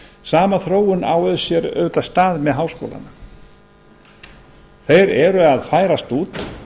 sama þróun á auðvitað sér stað með háskólana þeir eru að færast út